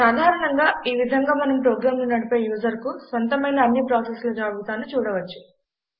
సాధరణంగా ఈ విధంగా మనం ప్రోగ్రామ్ నడిపే యూజర్ కు స్వంతమైన అన్ని ప్రాసెస్ల జాబితాను చూడవచ్చు